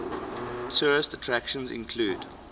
tourist attractions include